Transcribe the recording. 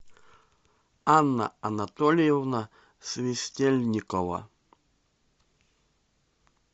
анна анатольевна свистельникова